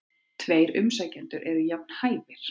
Tveir umsækjendur eru jafn hæfir.